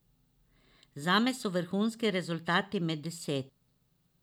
Zame so vrhunski rezultati med deset.